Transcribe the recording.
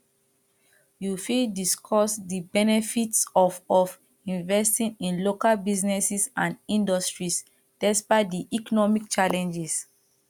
you fit discuss di benefits of of investing in local businesses and industries despite di economic challenges